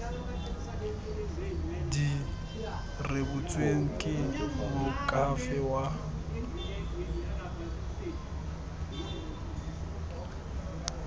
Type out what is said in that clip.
di rebotsweng ke moakhaefe wa